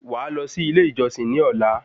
Wàá lọ sí ilé ìjọsìn ní ọ̀la